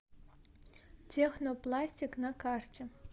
технопластик на карте